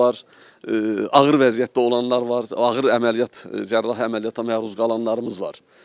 Ağır vəziyyətdə olanlarımız var, ağır əməliyyat cərrahi əməliyyata məruz qalanlarımız var.